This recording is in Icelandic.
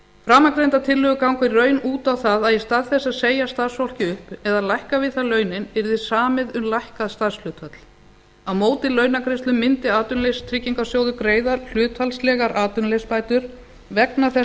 framangreindar tillögur ganga í raun út á það að í stað þess að segja starfsfólki upp eða lækka við það launin yrði samið um lækkað starfshlutfall á móti launagreiðslum mundi atvinnuleysistryggingasjóður greiða hlutfallslegar atvinnuleysisbætur vegna þess